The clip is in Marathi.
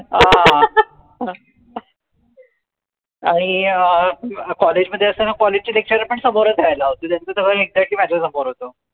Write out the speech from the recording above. आणि अं College मध्ये असतांना College चे Lecturer पण समोरच राहायला होते त्याच त घर exactly माझ्या समोर होत